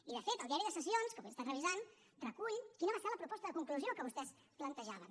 i de fet el diari de sessions que avui l’he estat revisant recull quina va ser la proposta de conclusió que vostès plantejaven